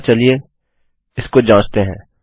अतः चलिए इसको जाँचते हैं